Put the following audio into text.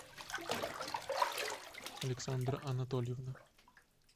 александра анатольевна